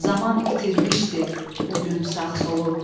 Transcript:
Zaman itirmişdi o gün sağ solu.